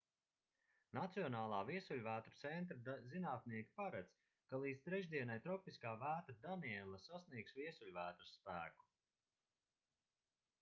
nacionālā viesuļvētru centra zinātnieki paredz ka līdz trešdienai tropiskā vētra daniela sasniegs viesuļvētras spēku